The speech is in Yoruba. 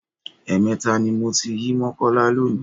Ẹ̀ẹ̀mẹta ni mo ti yí Mọ́kọ́lá lónìí.